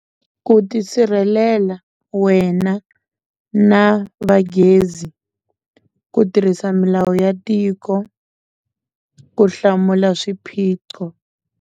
Ku ti sirhelela wena na va gezi ku tirhisa milawu ya tiko ku hlamula swiphiqo.